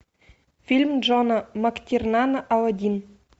фильм джона мактирнана аладдин